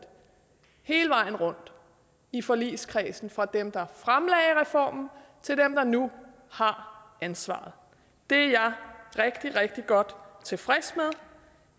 hele vejen rundt i forligskredsen fra dem der fremlagde reformen til dem der nu har ansvaret det er jeg rigtig rigtig godt tilfreds